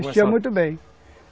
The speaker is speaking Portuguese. Vestia muito bem.